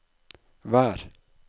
vær